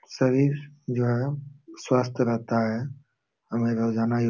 शरीर जो है स्वस्थ रहता है हमे रोजाना यो --